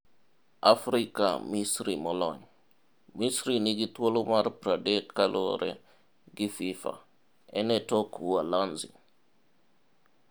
AFRIKA Misri Molony: Misri nigi thuolo mar 30 kaluore gi Fifa, en e tok Uholananzi.